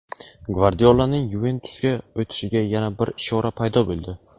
Gvardiolaning "Yuventus"ga o‘tishiga yana bir ishora paydo bo‘ldi.